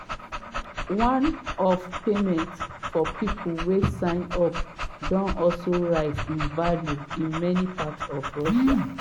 one-off payments for pipo wey sign up don also rise in value in many parts of russia.